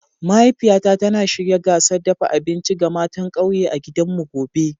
Mahaifiyata tana shirya gasar dafa abinci ga matan kauye a gidanmu gobe.